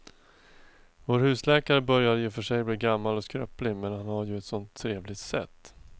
Vår husläkare börjar i och för sig bli gammal och skröplig, men han har ju ett sådant trevligt sätt!